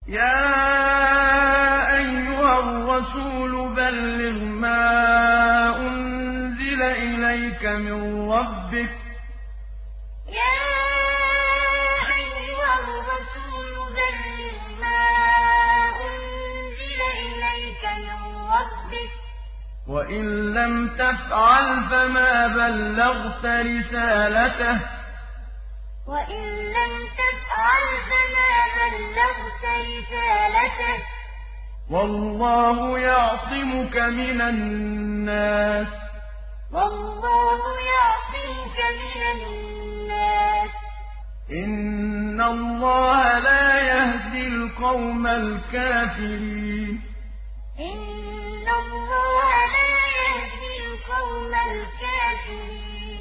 ۞ يَا أَيُّهَا الرَّسُولُ بَلِّغْ مَا أُنزِلَ إِلَيْكَ مِن رَّبِّكَ ۖ وَإِن لَّمْ تَفْعَلْ فَمَا بَلَّغْتَ رِسَالَتَهُ ۚ وَاللَّهُ يَعْصِمُكَ مِنَ النَّاسِ ۗ إِنَّ اللَّهَ لَا يَهْدِي الْقَوْمَ الْكَافِرِينَ ۞ يَا أَيُّهَا الرَّسُولُ بَلِّغْ مَا أُنزِلَ إِلَيْكَ مِن رَّبِّكَ ۖ وَإِن لَّمْ تَفْعَلْ فَمَا بَلَّغْتَ رِسَالَتَهُ ۚ وَاللَّهُ يَعْصِمُكَ مِنَ النَّاسِ ۗ إِنَّ اللَّهَ لَا يَهْدِي الْقَوْمَ الْكَافِرِينَ